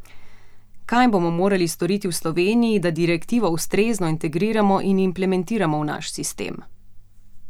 Kaj bomo morali storiti v Sloveniji, da direktivo ustrezno integriramo in implementiramo v naš sistem?